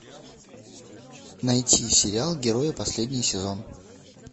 найти сериал герои последний сезон